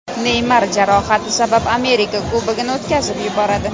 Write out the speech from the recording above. Neymar jarohati sabab Amerika Kubogini o‘tkazib yuboradi.